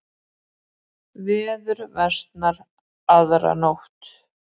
Veður versnar aðra nótt